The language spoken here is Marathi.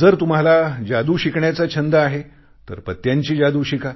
जर तुम्हाला जादू शिकण्याचा छंद आहे तर पत्त्यांची जादू शिका